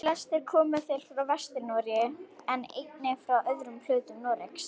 Flestir komu þeir frá Vestur-Noregi en einnig frá öðrum hlutum Noregs.